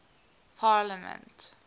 parliament